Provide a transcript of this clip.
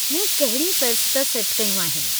मूं कहिड़ियूं फ़ेहरिस्त सेट कयूं आहिनि।